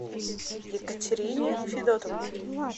екатерине федотовне